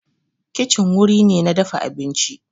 Kicin wuri ne na dafa abinci